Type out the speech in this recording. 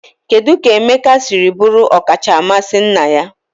Kedu ka Emeka siri bụrụ ọkacha mmasị nna ya?